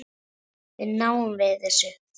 Þá náðum við þessu.